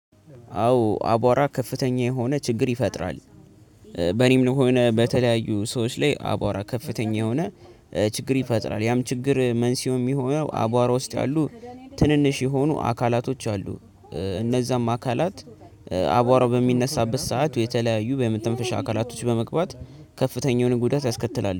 አዎ አቧራ ከፍተኛ የሆነ ችግር ይፈጥራል። በኔም ሆነ በተለያዩ ሰዎች ላይ አቧራ ከፍተኛ የሆነ ችግር ይፈጥራል። ያም ችግር መንስኤው የሚሆነው አቧራ ውስጥ ያሉ ትንንሽ የሆኑ አካላቶች አሉ። እነዛም አካላት አቧራው በሚነሳበት ሰዓት የተለያዩ በመተንፈሻ አካላቶች በመግባት ከፍተኛውን ጉዳት ያስከትላል